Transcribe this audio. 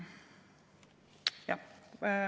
Jah.